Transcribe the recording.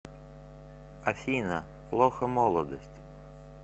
афина плохо молодость